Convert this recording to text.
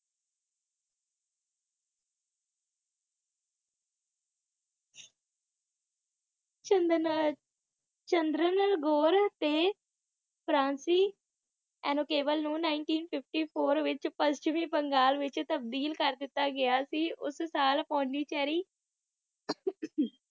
ਚੰਦਨ Chandernagore ਤੇ ਫ੍ਰਾਂਸਿ ਅਨੁਕੈਬਲ ਨੂੰ nineteen fifty four ਵਿਚ ਪੱਛਮੀ ਬੰਗਾਲ ਵਿਚ ਤਬਦੀਲ ਕਰ ਦਿਤਾ ਗਿਆ ਸੀ ਉੱਸ ਸਾਲ ਪੌਂਡਊਚੇਰੀ